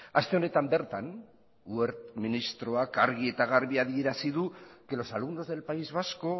aste honetan bertan wert ministroak argi eta garbi adierazi du los alumnos del país vasco